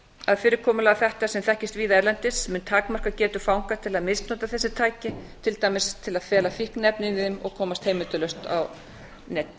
að fyrirkomulag þetta sem þekkist víða erlendis mun takmarka getu fanga til að misnota þessi tæki til dæmis til að fela fíkniefni inni í þeim og komast heimildarlaust á netið